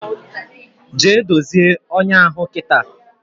Jee dozie ọnyá ahụ kita!